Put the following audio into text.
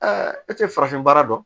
e tɛ farafin baara dɔn